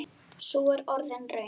Sú er orðin raunin.